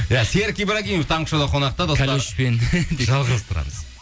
иә серік ибрагимов таңғы шоуда қонақта достар жалғастырамыз